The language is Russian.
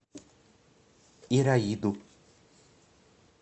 ираиду